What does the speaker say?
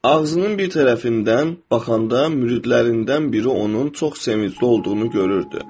Ağzının bir tərəfindən baxanda müridlərindən biri onun çox sevincli olduğunu görürdü.